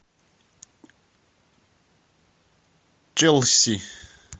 челси